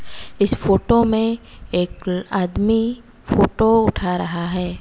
इस फोटो में एक आदमी फोटो उठा रहा है।